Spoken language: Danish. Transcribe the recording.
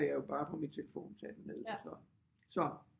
Jeg jo bare på min telefon tage den ned så så